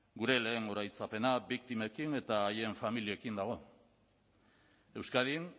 gure lehen oroitzapena biktimekin eta haien familiekin dago euskadin